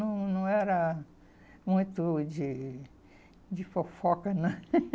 Não, não era muito de fofoca, não.